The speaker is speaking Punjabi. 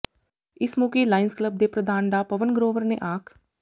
ਇਸ ਮੌਕੇ ਲਾਇਨਜ਼ ਕਲੱਬ ਦੇ ਪ੍ਰਧਾਨ ਡਾ ਪਵਨ ਗਰੋਵਰ ਨੇ ਆਖ